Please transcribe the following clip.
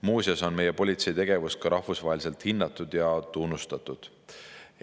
Muuseas on meie politsei tegevust ka rahvusvaheliselt hinnatud ja tunnustatud.